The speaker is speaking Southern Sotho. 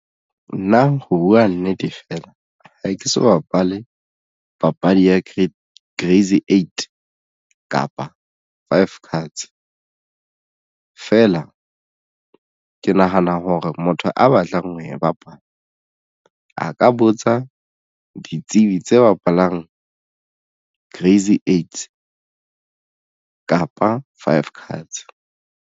Nna ho buwa nnete fela ha ke so bapale papadi ya crazy eight kapa five cards feela ke nahana hore motho a batlang ho e bapala a ka botsa ditsebi tse bapalang crazy eights kapa five cards.